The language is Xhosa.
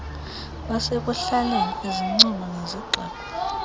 basekuhlaleni izincomo nezigxeko